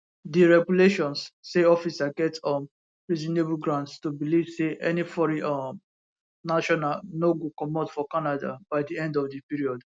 di regulations say officer get um reasonable grounds to believe say any foreign um national no go comot for canada by di end of di period